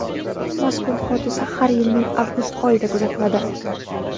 Mazkur hodisa har yilning avgust oyida kuzatiladi.